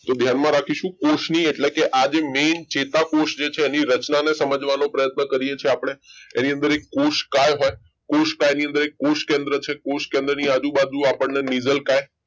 તો ધ્યાનમાં રાખીશું કોષની એટલે કે આજે main ચેતાકોષ જે છે એની રચના સમજવાનો પ્રયત્ન કરીએ છીએ આપણે એની અંદર કોષકાય હોય કોષકાય ની અંદર એક કોષકેન્દ્ર છે કોષકેન્દ્રની આજુબાજુ નીઝલકાઈ